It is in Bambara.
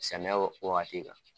Sɛnɛ wagati kan.